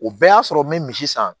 O bɛɛ y'a sɔrɔ n bɛ misi san